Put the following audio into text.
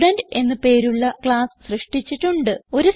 student എന്ന് പേരുള്ള class സൃഷ്ടിച്ചിട്ടുണ്ട്